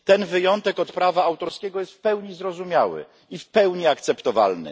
Ten wyjątek od prawa autorskiego jest w pełni zrozumiały i w pełni akceptowalny.